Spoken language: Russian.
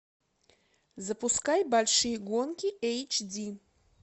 запускай большие гонки эйч ди